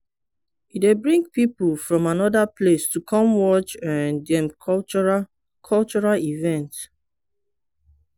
e dey bring people from anoda place to come watch um dem cultural cultural event.